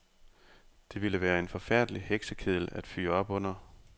Det ville være en forfærdelig heksekedel at fyre op under.